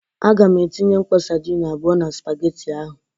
Aga m etinye mkpọ sadin abụọ na spageti ahụ.